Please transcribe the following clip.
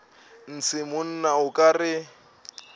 ntshe monna o ka re